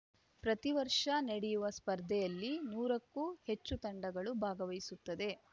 ಪ್ರತಿವರ್ಷ ನಡೆಯುವ ಸ್ಪರ್ಧೆಯಲ್ಲಿ ನೂರಕ್ಕೂ ಹೆಚ್ಚು ತಂಡಗಳು ಭಾಗವಹಿಸುತ್ತದೆ